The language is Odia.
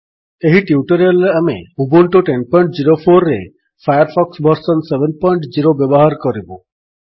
ଏହି ଟ୍ୟୁଟୋରିଆଲ୍ ରେ ଆମେ ଉବୁଣ୍ଟୁ ୧୦୦୪ରେ ଫାୟାର୍ ଫକ୍ସ ଭର୍ସନ୍ ୭୦ ବ୍ୟବହାର କରିବୁ